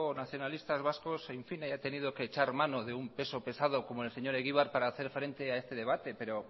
nacionalista vascos haya tenido que echar mano de un peso pesado como el señor egibar para hacer frente a este debate pero